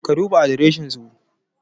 Ka duba adreshin su